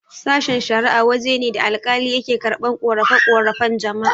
Sashen-shara'a waje ne da alkali yake karɓan ƙorafe-ƙorafen jama'a.